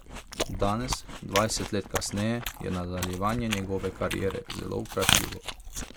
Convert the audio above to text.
Danes, dvajset let kasneje, je nadaljevanje njegove kariere zelo vprašljivo.